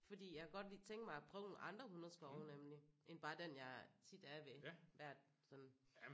Fordi jeg kan godt lige tænke mig at prøve nogle andre hundeskove nemlig end bare den jeg tit er ved hvert sådan